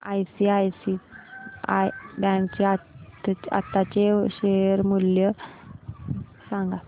ICICI bank चे आताचे share मूल्य सांगा